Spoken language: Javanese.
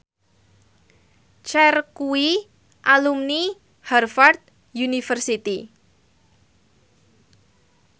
Cher kuwi alumni Harvard university